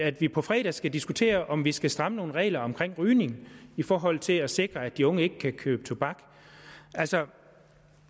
at vi på fredag skal diskutere om vi skal stramme nogle regler om rygning i forhold til at sikre at de unge ikke kan købe tobak altså